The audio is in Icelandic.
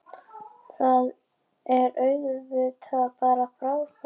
Það er auðvitað bara frábært